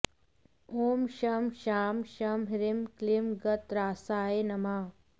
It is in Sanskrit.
ॐ शं शां षं ह्रीं क्लीं गतत्रासाय नमः